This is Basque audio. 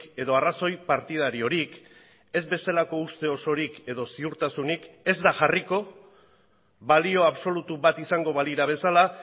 edo arrazoi partidariorik ez bezalako uste osorik edo ziurtasunik ez da jarriko balio absolutu bat izango balira bezala